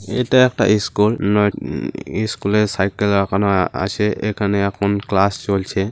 এটা একটা ইস্কুল । নয় উ ইস্কুল এ সাইকেল রাখানো আছে। এখানে এখন ক্লাস চলছে।